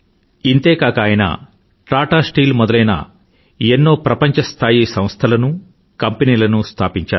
ఇంతే కాక ఆయన టాటా స్టీల్ మొదలైన ఎన్నో ప్రపంచస్థాయి సంస్థలను కంపెనీలనూ స్థాపించారు